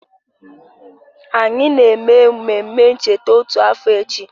Anyị na-eme mmemme ncheta otu afọ echi